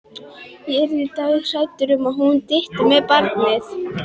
Ég yrði dauðhrædd um að hún dytti með barnið.